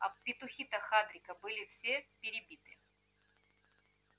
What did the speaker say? а петухи-то хагрида были все перебиты